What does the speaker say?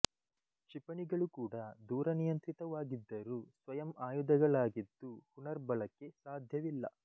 ಕ್ಷಿಪಣಿಗಳು ಕೂಡ ದೂರ ನಿಯಂತ್ರಿತವಾಗಿದ್ದರೂ ಸ್ವಯಂ ಆಯುಧಗಳಾಗಿದ್ದು ಪುನಃರ್ಬಳಕೆ ಸಾಧ್ಯವಿಲ್ಲ